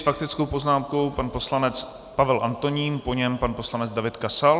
S faktickou poznámkou pan poslanec Pavel Antonín, po něm pan poslanec David Kasal.